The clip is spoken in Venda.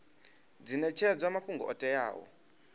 dzi netshedzwa mafhungo o teaho